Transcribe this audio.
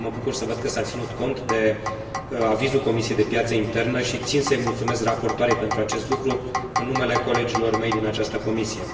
Mă bucur să văd că s a ținut cont de avizul Comisiei pentru piața internă și țin să i mulțumesc raportoarei pentru acest lucru, în numele colegilor mei din această comisie.